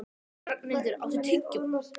Ragnhildur, áttu tyggjó?